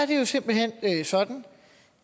det er jo simpelt hen sådan